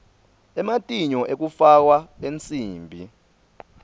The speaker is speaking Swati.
ematinyo ekufakwa ensimbi